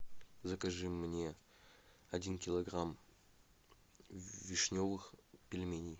закажи мне один килограмм вишневых пельменей